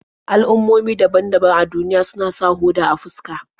Al'ummomi daban-daban a duniya suna sa hoda a fuska.